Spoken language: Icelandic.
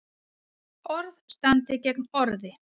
Orð standi gegn orði